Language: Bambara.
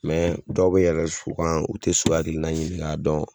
dɔw bɛ yɛlɛn so kan u tɛ so hakilina ɲinin k'a dɔn.